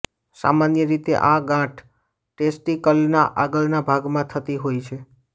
સામાન્ય રીતે આ ગાંઠ ટેસ્ટિકલના આગળના ભાગમાં થતી હોય છે